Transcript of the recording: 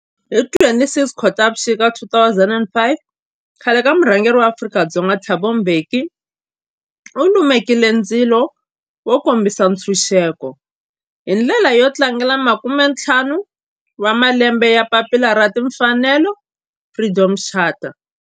Hi ti 26 Khotavuxika 2005 khale ka murhangeri wa Afrika-Dzonga Thabo Mbeki u lumekile ndzilo wo kombisa ntshuxeko, hi ndlela yo tlangela makumentlhanu wa malembe ya papila ra timfanelo, Freedom Charter.